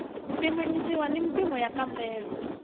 pimanisiwa na mimpimo ya nkambelo